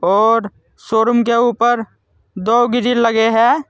और शोरूम के ऊपर दो ग्रिल लगे है।